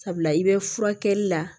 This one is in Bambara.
Sabula i bɛ furakɛli la